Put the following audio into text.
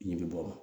Ɲ bɛ bɔ